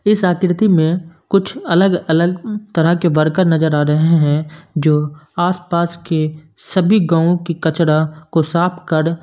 इस आकृति में कुछ अलग अलग तरह के बरकार नजर आ रहे हैं जो आस पास के सभी गांव की कचड़ा को साफ कर--